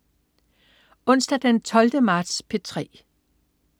Onsdag den 12. marts - P3: